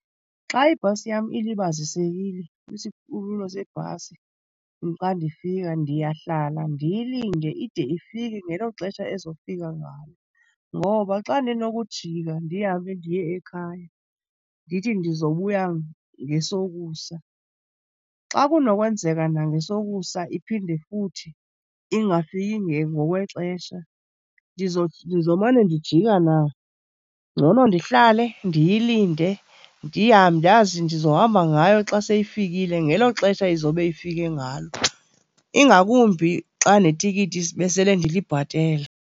Xa ibhasi yam ilibazisekile kwisikhululo sebhasi xa ndifika, ndiyahlala ndiyilinde ide ifike ngelo xesha ezofika ngalo. Ngoba xa ndinokujika ndihambe ndiye ekhaya ndithi ndizobuya ngesokusa, xa kunokwenzeka nangesokusa iphinde futhi ingafiki ngokwexesha ndizomane ndijika na? Ngcono ndihlale ndiyilinde, ndazi ndizohamba ngayo xa seyifikile ngelo xesha izobe ifike ngalo, ingakumbi xa netikiti besele ndilibhatele.